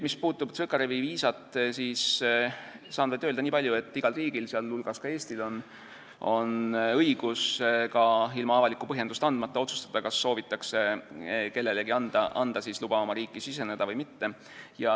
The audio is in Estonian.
Mis puutub Tsõkarevi viisat, siis saan öelda niipalju, et igal riigil, teiste hulgas Eestil, on õigus ka ilma avalikku põhjendust andmata otsustada, kas soovitakse kellelegi anda luba riiki siseneda või mitte.